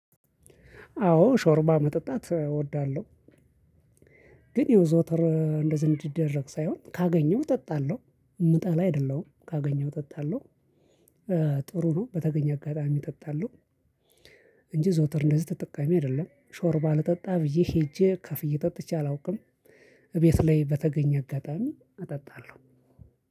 አዎ ሾርባ መጠጣት እወዳለሁ ግን ያው ዘውትር እንደዚህ እንዲደረግ ሳይሆን ካገኘሁ እጠጣለሁ የምጠላ አይደለሁም ካገኘሁ እጠጣለሁ ጥሩ ነው በተገኘ አጋጣሚ እጠጣለሁ እንጂ ዘውትር እንደዚህ ተጠቃሚ አይደለም ሾር ባልጠጣ ብዬ ሄጄ ከፍ እየጠጥቼ አላውቅም እቤት ላይ በተገኘ አጋጣሚ አጠጣለሁ።